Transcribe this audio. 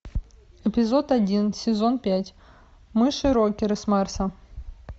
эпизод один сезон пять мыши рокеры с марса